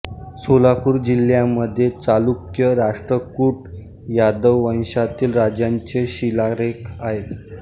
सोलापूर जिल्ह्यामध्ये चालुक्य राष्ट्रकूट यादव वंशातील राजांचे शिलालेख आहेत